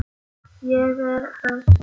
Ég er föst.